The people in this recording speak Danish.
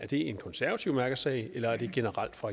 en konservativ mærkesag eller er det generelt for